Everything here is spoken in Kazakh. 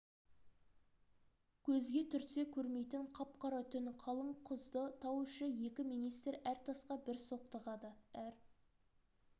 көзге түртсе көрмейтін қап-қара түн қалың құзды тау іші екі министр әр тасқа бір соқтығады әр